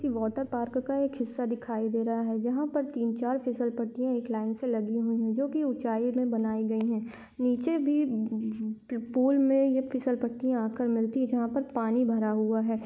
ये water park का एक हिस्सा दिखाई दे रहा है जहा पर तीन-चार फिसल पट्टीया एक लाइन से लगी हुई है जो की ऊंचाई मे बनाई गई है नीचे भी ब द पूल मे ये फिसलपट्टी आकर मिलती है जहा पर पानी भरा हुआ है।